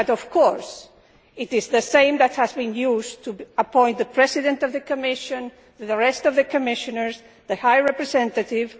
Of course, it is the same that was used to appoint the President of the Commission, the rest of the Commissioners and the High Representative.